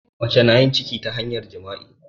Mace na yin ciki ta hanyar jima'i.